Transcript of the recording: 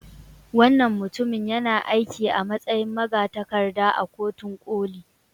Wannan mutumin yana aiki a matsayin magatakarda a Kotun Koli.